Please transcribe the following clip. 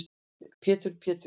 Pétur Péturs